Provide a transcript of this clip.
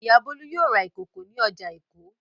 Ìyá Bólú yóò ra ìkòkò ní ọjà Èkó.